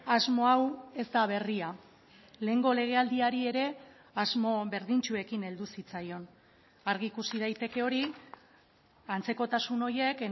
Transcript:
asmo hau ez da berria lehengo legealdiari ere asmo berdintsuekin heldu zitzaion argi ikusi daiteke hori antzekotasun horiek